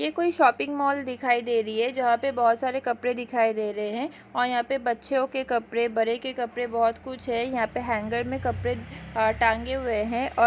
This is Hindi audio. ये कोई शॉपिंग मॉल दिखाई दे रही है जहाँ पे बहुत सारे कपड़े दिखाई दे रहे है और यहाँ पे बच्चेयो के कपड़े बड़े के कपरेकपड़े बहुत कुछ है यहाँ पे हैंगर में कपड़े टांगे हुए हैं अ--